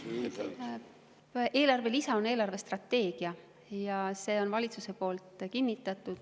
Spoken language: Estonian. Eelarvestrateegia on eelarve lisa ja selle on valitsus kinnitanud.